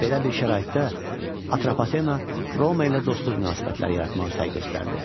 Belə bir şəraitdə Atropatena Roma ilə dostluq münasibətləri yaratmağa səy göstərdi.